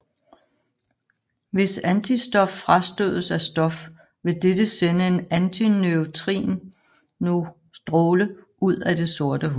Hvis antistof frastødes af stof vil dette sende en antineutrinostråle ud af det sorte hul